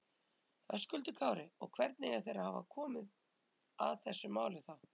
Höskuldur Kári: Og hvernig eiga þeir að hafa komið að þessu máli þá?